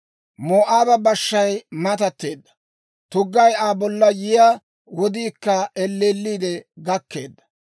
Moo'aaba bashshay matatteedda; tuggay Aa bollan yiyaa wodiikka elleelliide gakkeedda.